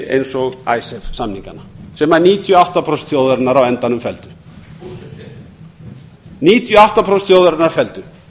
eins og icesave samningana þar sem níutíu og átta prósent þjóðarinnar á endanum felldu níutíu og átta prósent þjóðarinnar felldu